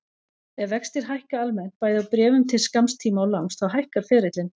Ef vextir hækka almennt, bæði á bréfum til skamms tíma og langs, þá hækkar ferillinn.